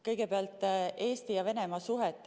Kõigepealt Eesti ja Venemaa suhetest.